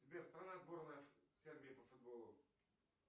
сбер страна сборной сербии по футболу